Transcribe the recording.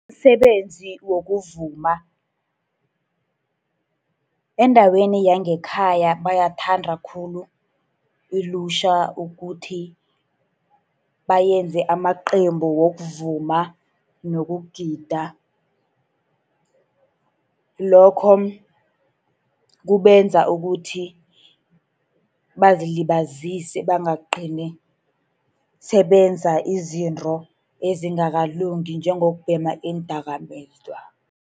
Msebenzi wokuvuma. Endaweni yangekhaya bayathanda khulu ilutjha ukuthi benze amaqembu wokuvuma nokugida. Lokho kubenza ukuthi bazilibazise, bangagcini sebenza izinto ezingakalungi, njengokubhema iindakamizwa.